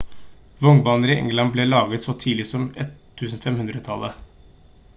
vognbaner i england ble laget så tidlig som 1500-tallet